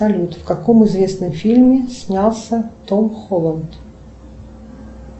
салют в каком известном фильме снялся том холланд